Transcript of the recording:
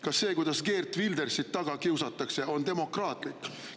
Kas see, kuidas Geert Wildersit taga kiusatakse, on demokraatlik?